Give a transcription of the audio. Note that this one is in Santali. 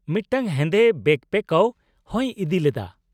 -ᱢᱤᱫᱴᱟᱝ ᱦᱮᱸᱫᱮ ᱵᱮᱹᱠᱯᱮᱹᱠᱚᱣ ᱦᱚᱭ ᱤᱫᱤ ᱞᱮᱫᱟ ᱾